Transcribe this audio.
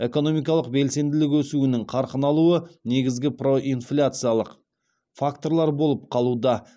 экономикалық белсенділік өсуінің қарқын алуы негізгі проинфляциялық факторлар болып қалуда